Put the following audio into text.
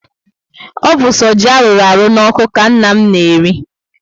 O bu so ji arụrụ n'oku ka nna m na-eri